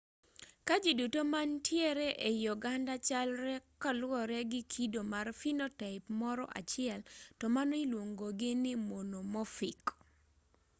ka ji duto manitiere ei oganda chalre koluwore gi kido mar phenotype moro achiel to mano iluongogi ni monomorphic